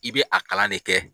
I bɛ a kalan ne kɛ.